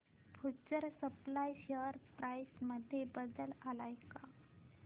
future supply share price मध्ये बदल आलाय का